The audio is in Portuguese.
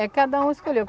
É, cada um escolheu.